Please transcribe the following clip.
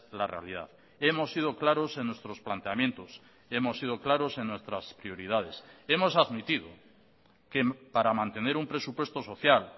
la realidad hemos sido claros en nuestros planteamientos hemos sido claros en nuestras prioridades hemos admitido que para mantener un presupuesto social